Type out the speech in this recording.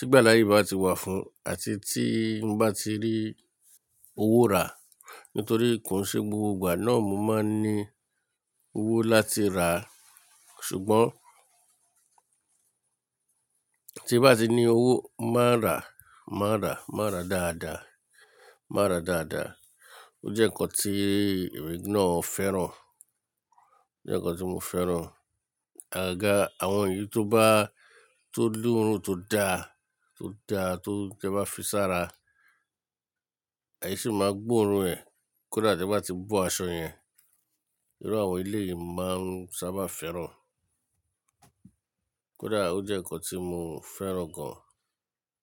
nigba taye bá ti wà fún un àti tí mo bá ti rí owó rà. Nítorí kò n ṣe gbogbo ìgbà náà ni mo máa ń ní owó láti rà á. Ṣùgbọ́n tí n bá ti ní owó, mo máa n rà, mo máa n rà, mo máa n rà dáadáa, mo máa n rà dáadáa. Ó jẹ́ ǹkan tí èmi náà fẹ́ràn. Ò jẹ́ ǹkan tí mo fẹ́ràn. Àgaga, àwọn èyí tó bá, tó l'oorun tó da, tó da, tó-- ti e bá fi sára, esí máa gbó oorun ẹ̀. Kódà tí e bá ti bo aṣọ yẹn, irú àwọn eléyìí ni mo máa ń sábà fẹ́ràn. Kódà ó jẹ́ ǹkan tí mo fẹ́ràn gan.